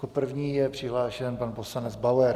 Jako první je přihlášen pan poslanec Bauer.